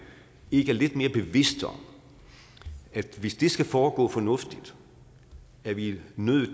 ikke er lidt mere bevidst om at hvis det skal foregå fornuftigt er vi nødt